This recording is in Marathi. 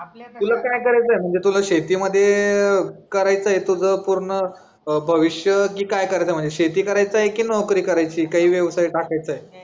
तुला काय करायचं आहे म्हणजे तुला शेतीमध्ये अह करायचंय तुझं पूर्ण भविष्य की करायचं आहे म्हणजे शेती करायचंय की नोकरी करायचीये काही व्यवसाय टाकायचा आहे.